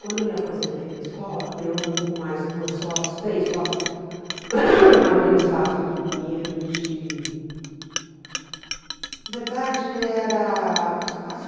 Quando eu me aposentei na escola, eu, com mais duas sócias, três sócias, aham abri um espaço aqui em Pinheiros de... Na verdade, era um espaço...